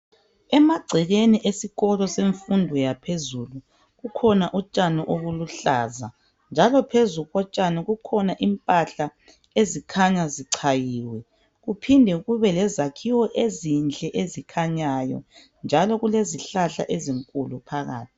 Emagcekeni esikolo semfundo yaphezulu kukhona utshani obuluhlaza njalo phezu kotshani kukhona impahla ezikhanya zichayiwe kuphinde kube lezakhiwo ezinhle ezikhanyayo njalo kulezihlahla ezinkulu phakathi.